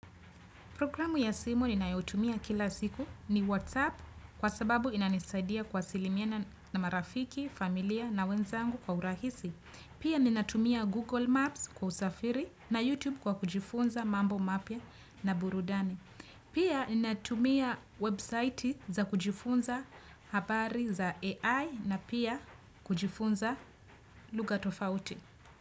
Programu ya simu ninayotumia kila siku ni WhatsApp kwa sababu inanisaidia kwa kuwasiliana marafiki, familia na wenzangu kwa urahisi. Pia ninatumia Google Maps kwa usafiri na YouTube kwa kujifunza mambo mapya na burudani. Pia ninatumia website za kujifunza habari za AI na pia kujifunza lugha tofauti.